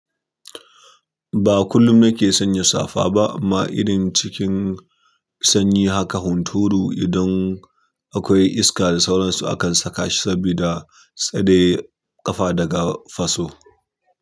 Ba kullum na ke sanya safa ba amma irin cikin sanyi haka hunturu idan akwai iska da sauransu akan saka shi saboda tsare ƙafa daga faso.